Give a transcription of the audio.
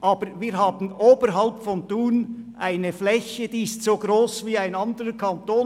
Aber wir haben oberhalb von Thun eine Fläche, die so gross ist wie ein ganzer Kanton.